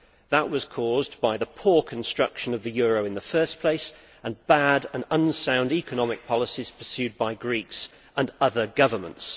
That was caused by the poor construction of the euro in the first place and bad and unsound economic policies pursued by Greeks and other governments.